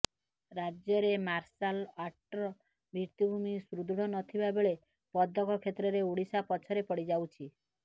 ରାଜ୍ୟରେ ମାର୍ସାଲ ଆର୍ଟର ଭିତ୍ତିଭୂମୀ ସୁଦୃଢ ନ ଥିବା ବେଳେ ପଦକ କ୍ଷେତ୍ରରେ ଓଡିଶା ପଛରେ ପଡିଯାଉଛି